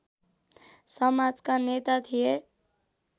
समाजका नेता थिए